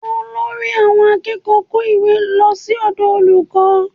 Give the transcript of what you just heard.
Olórí àwọn akẹ́kọ̀ọ́ kó ìwé lọ sí ọ̀dọ̀ olùkọ́